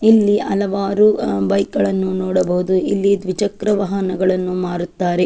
ಇಲ್ಲಿ ಹಲವಾರು ಬೈಕ್ ಗಳನ್ನು ನೋಡಬಹುದು ಇಲ್ಲಿ ದ್ವಿಚಕ್ರ ವಾಹನಗಳನ್ನು ಮಾರುತ್ತಾರೆ.